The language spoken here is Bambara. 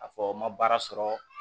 A fɔ n ma baara sɔrɔ